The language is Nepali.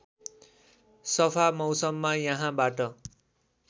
सफा मौसममा यहाँबाट